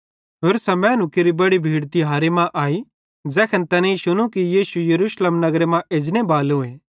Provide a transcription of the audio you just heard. होरसां मैनू केरि बड़ी भीड़ तिहारे मां आई ज़ैखन तैनेईं शुनू कि यीशु भी यरूशलेम नगरे मां एजनेबालोए